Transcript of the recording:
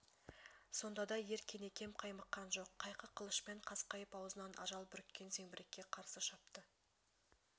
сонда да ер кенекем қаймыққан жоқ қайқы қылышпен қасқайып аузынан ажал бүріккен зеңбірекке қарсы шапты